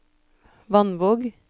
Vannvåg